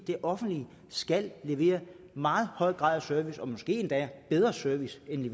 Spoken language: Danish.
det offentlige skal levere en meget høj grad af service og måske endda en bedre service end